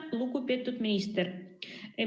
Lugupeetud minister!